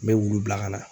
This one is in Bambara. N bɛ wulu bila ka na